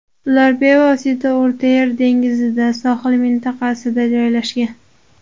Ular bevosita O‘rta Yer dengizida, Sohil mintaqasida joylashgan.